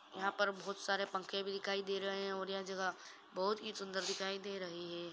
यहाँ पर बहोत सारे पंखे भी दिखाई दे रहा है और यह जगह बहोत ही सुंदर दिखाई दे रही है।